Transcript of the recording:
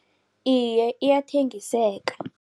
Iye, iyathengiseka.